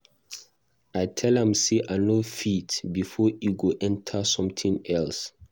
I tell am say I no fit before e go enter something else.